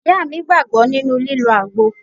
Ìyá mi gbàgbọ́ nínú lílọ àgbo.